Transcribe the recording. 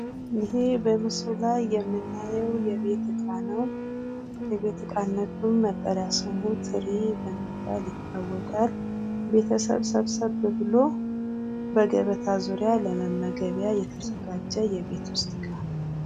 ይህ በምስሉ ላይ የምናየው የቤት እቃ ነው። የቤት እቃነቱም መጠሪያ ስሙ ትሪ በመባል ይታወቃል። ቤተሰብ ሰብሰብ ብሎ በገበታ ዙሪያ ለመመገቢያ የተዘጋጀ የቤት ውስጥ እቃ።